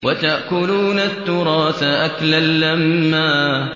وَتَأْكُلُونَ التُّرَاثَ أَكْلًا لَّمًّا